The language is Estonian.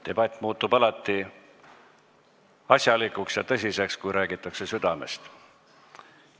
Debatt muutub alati asjalikuks ja tõsiseks, kui räägitakse südamest.